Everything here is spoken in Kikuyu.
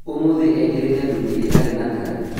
ũmũthĩ ekĩrĩte thuti ĩtarĩ na tai